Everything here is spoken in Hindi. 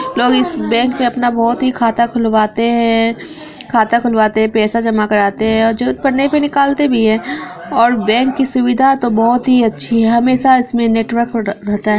इस बैंक मे अपना बहुत ही खाता खुलवाते हैं खाता खुलवाते हैं पैसा जमा कराते हैं ओर जरूरत पड़ने पे निकालते भी है और बैंक कि सुविधा तो बहुत ही अच्छी है हमेशा इसमे नेटवर्क र-रहता है।